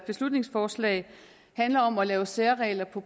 beslutningsforslag handler om at lave særregler på